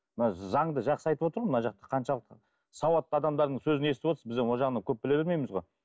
мына заңды жақсы айтып отыр ғой мына жақта қаншалықты сауатты адамдардың сөзін естіп отырсыз біз енді ол жағынан көп біле бермейміз ғой